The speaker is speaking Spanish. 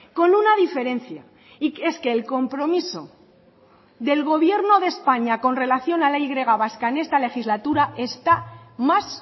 con una diferencia y es que el compromiso del gobierno de españa con relación a la y vasca en esta legislatura está más